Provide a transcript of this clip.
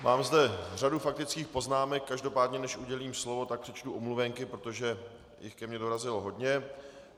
Mám zde řadu faktických poznámek, každopádně než udělím slovo, tak přečtu omluvenky, protože jich ke mně dorazilo hodně.